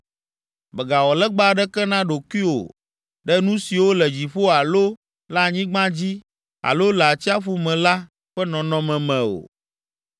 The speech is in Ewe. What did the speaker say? Mègawɔ legba aɖeke na ɖokuiwò ɖe nu siwo le dziƒo alo le anyigba dzi alo le atsiaƒu me la ƒe nɔnɔme me o.